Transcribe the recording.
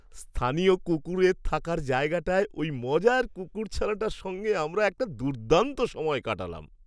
স্থানীয় কুকুরের থাকার জায়গাটায় ওই মজার কুকুরছানাটার সঙ্গে আমরা একটা দুর্দান্ত সময় কাটালাম।